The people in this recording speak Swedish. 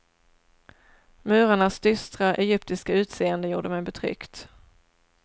Murarnas dystra, egyptiska utseende gjorde mig betryckt.